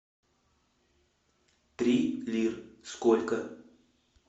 три лир сколько